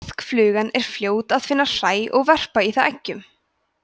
maðkaflugan er fljót að finna hræ og verpa í það eggjum